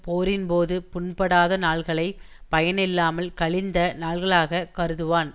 போரின்போது புண்படாத நாள்களைப் பயனில்லாமல் கழிந்த நாள்களாகக் கருதுவான்